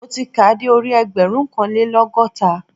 Mo ti kàá de orí ẹgbẹ̀rúnkanlélọ́gọ́ta